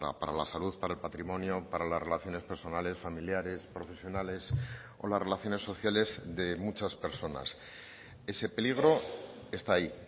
para la salud para el patrimonio para las relaciones personales familiares profesionales o las relaciones sociales de muchas personas ese peligro está ahí